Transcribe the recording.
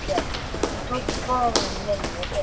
Hún tók bón minni vel.